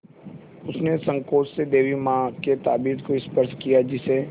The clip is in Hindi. उसने सँकोच से देवी माँ के ताबीज़ को स्पर्श किया जिसे